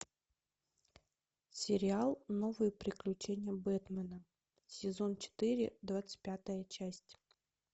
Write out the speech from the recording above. сериал новые приключения бэтмена сезон четыре двадцать пятая часть